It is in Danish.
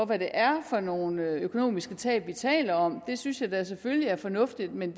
hvad det er for nogle økonomiske tab vi taler om synes jeg da selvfølgelig er fornuftigt men